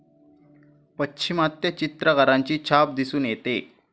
पाश्चिमात्य चित्रकारांची छाप दिसून येते